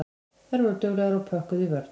Þær voru duglegar og pökkuðu í vörn.